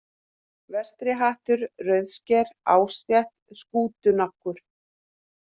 Vestrihattur, Rauðsker, Ásrétt, Skútunaggur